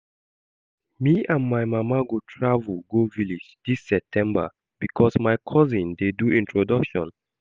Me and my mama go travel go village dis Septemeber because my cousin dey do introduction